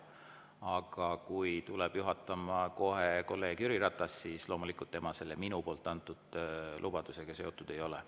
Aga kui tuleb juhatama kolleeg Jüri Ratas, siis loomulikult tema minu antud lubadusega seotud ei ole.